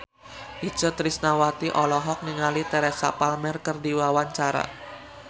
Itje Tresnawati olohok ningali Teresa Palmer keur diwawancara